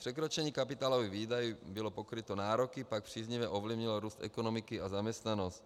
Překročení kapitálových výdajů bylo pokryto, nároky pak příznivě ovlivnilo růst ekonomiky a zaměstnanost.(?)